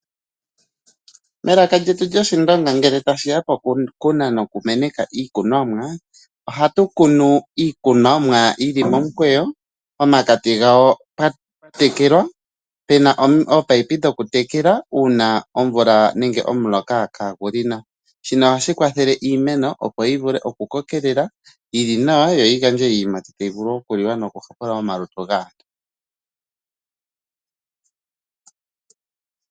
Melaka lyetu lyoshindonga ngele tashiya poku kuna nokumeneka iikunomwa, ohatu kunu iikunomwa yili momukweyo pomakati gawo pwatekelwa, pena ominino dhokutekela uuna omvula nenge omuloka kagu li nawa. Shino ohashi kwathele iimeno opo yivule okukokelela, yili nawa yoyi gandje iiyimati tayi vule okuliwa noku kokeka omalutu gaantu.